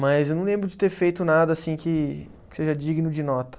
Mas eu não lembro de ter feito nada assim que que seja digno de nota.